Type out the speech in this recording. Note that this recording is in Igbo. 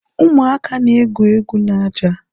Ụmụaka na egwu egwu n'ájá.